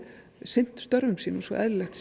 sinnt störfum sínum svo eðlilegt